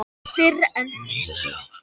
Fyrr en nýlega.